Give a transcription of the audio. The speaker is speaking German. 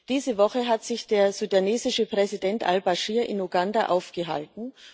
Diese Woche hat sich der sudanesische Präsident Al Baschir in Uganda aufgehalten.